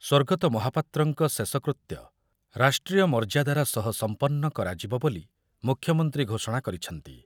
ସ୍ୱର୍ଗତ ମହାପାତ୍ରଙ୍କ ଶେଷକୃତ୍ୟ ରାଷ୍ଟ୍ରୀୟ ମର୍ଯ୍ୟାଦାର ସହ ସମ୍ପନ୍ନ କରାଯିବ ବୋଲି ମୁଖ୍ୟମନ୍ତ୍ରୀ ଘୋଷଣା କରିଛନ୍ତି।